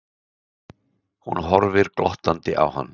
Hún horfir glottandi á hann.